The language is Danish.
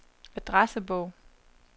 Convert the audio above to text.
adressebog